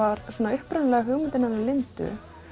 upprunalegan hugmyndin hennar Lindu